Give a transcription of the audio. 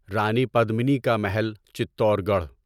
رانی پدمنی کا محل چتور گڑھ